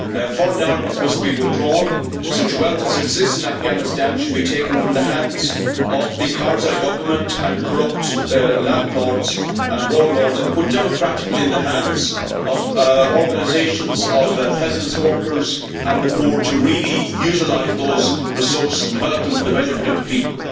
Foreign armies must be withdrawn and such wealth as exists in Afghanistan should be taken from the hands of the Karzai government, corrupt landlords and warlords and put democratically in the hands of organisations of peasants, workers and the poor to really utilise those resources and develop them for the benefit of the people.